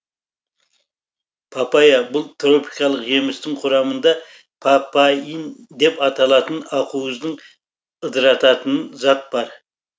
папайя бұл тропикалық жемістің құрамында папаин деп аталатын ақуыздың ыдырататын зат бар